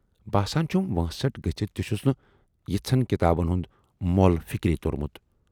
باسان چھُم وٲنسٹھ گٔژھِتھ تہِ چھُس نہٕ یِژھن کِتابَن ہُند مۅل فِکرِی تورمُت۔